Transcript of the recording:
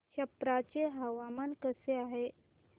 छप्रा चे हवामान कसे आहे